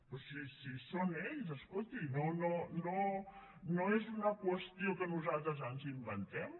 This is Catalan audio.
però si són ells escolti no és una qüestió que nosaltres ens inventem